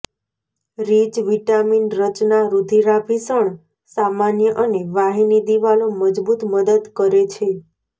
rich vitamin રચના રુધિરાભિસરણ સામાન્ય અને વાહિની દિવાલો મજબૂત મદદ કરે છે